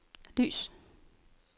lys